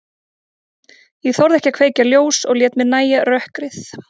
Ég þorði ekki að kveikja ljós og lét mér nægja rökkrið.